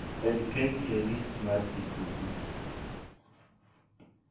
med keki e list mara mar sikuku